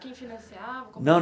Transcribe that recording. Quem financiava? Não